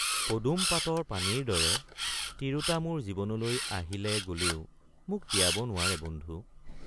পদুম পাতৰ পানীৰ দৰে তিৰোতা মোৰ জীৱনলৈ আহিলে গলেও মোক তিয়াব নোৱাৰে বন্ধু।